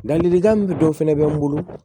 Ladilikan min dɔ fɛnɛ bɛ n bolo